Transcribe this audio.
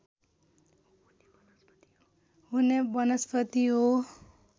हुने वनस्पति हो